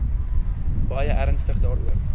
baie ernstig daaroor